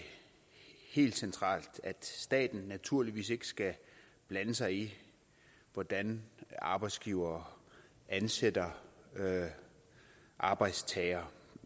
helt centralt at staten naturligvis ikke skal blande sig i hvordan arbejdsgivere ansætter arbejdstagere